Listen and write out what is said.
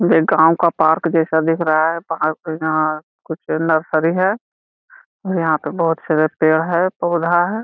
यह गांव का पार्क जैसा दिख रहा है वहाँ से यहाँ कुछ नर्सरी है यहाँ पर बहुत सारे पेड़ है पौधा हैं।